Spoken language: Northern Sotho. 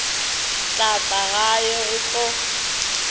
tla tla gae go tlo